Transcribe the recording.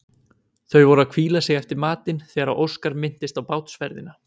Þau voru að hvíla sig eftir matinn þegar Óskar minntist á bátsferðina.